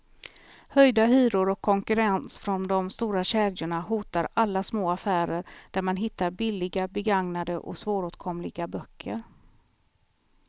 Höjda hyror och konkurrens från de stora kedjorna hotar alla små affärer där man hittar billiga, begagnade och svåråtkomliga böcker.